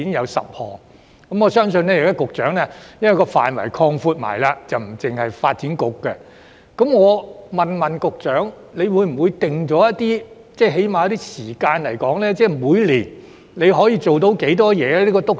現時督導小組的職權範圍已擴闊至不僅包括發展局，局長會否為督導小組訂下時間表，例如每年處理多少項工作？